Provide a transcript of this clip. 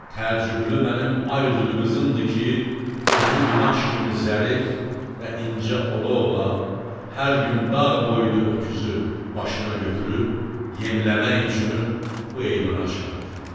Təəccüblü mənim ay üzlü qızımdır ki, özü qumaş kimi zərif və incə ola-ola hər gün dağ boyda öküzü başına götürüb yemləmək üçün bu eyvana çıxarır.